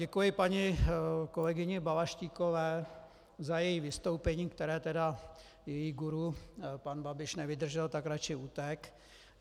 Děkuji paní kolegyni Balaštíkové za její vystoupení, které tedy její guru, pan Babiš, nevydržel, tak raději utekl.